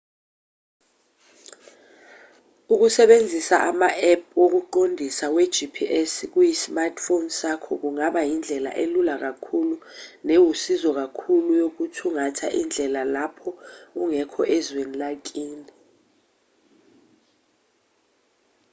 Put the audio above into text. ukusebenzisa ama-app wokuqondisa we-gps kuyi-smartphone sakho kungaba yindlela elula kakhulu newusizo kakhulu yokuthungatha indlela lapho ungekho ezweni lakini